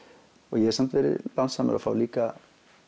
ég hef samt verið lánsamur að fá líka